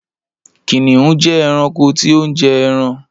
Kìnìún jẹ eranko tí o njẹ ẹran.